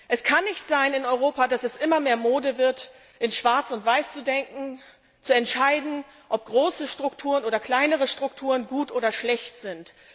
Es kann in Europa nicht sein, dass es immer mehr Mode wird, in schwarz und weiß zu denken, zu entscheiden, ob große Strukturen oder kleinere Strukturen gut oder schlecht sind.